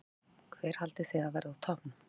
Gísli: Hver haldið þið að verði toppurinn?